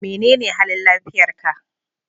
Menene halin lafiyar ka?